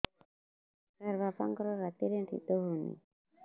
ସାର ବାପାଙ୍କର ରାତିରେ ନିଦ ହଉନି